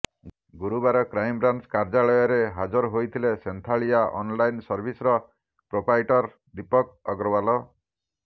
ଗୁରୁବାର କ୍ରାଇମବ୍ରାଞ୍ଚ କାର୍ଯ୍ୟାଳୟରେ ହାଜର ହୋଇଥିଲେ ସୋନ୍ଥାଳିଆ ଅନଲାଇନ୍ ସର୍ଭିସର ପ୍ରୋପାଇଟର ଦୀପକ ଅଗ୍ରୱାଲ